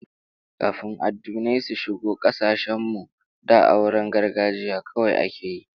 Kafin addinai su shigo kasashen mu, da auren gargajiya kawai ake yi